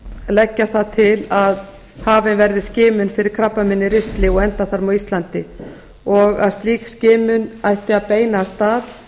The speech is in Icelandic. leggja það til að hafin verði skimun fyrir krabbameini í ristli og endaþarmi á íslandi og að slík skimun ætti að beinast að